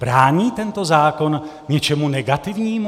Brání tento zákon něčemu negativnímu?